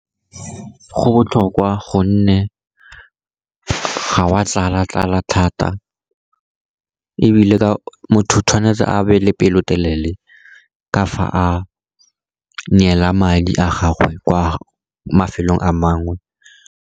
Go botlhokwa, gonne ga wa tlala-tlala thata, ebile motho o tshwanetse a be le pelotelele ka fa a neela madi a gagwe kwa mafelong a mangwe.